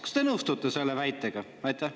Kas te nõustute selle väitega?